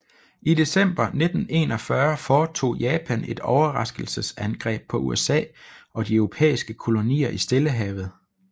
I december 1941 foretog Japan et overraskelsesangreb på USA og de europæiske kolonier i Stillehavet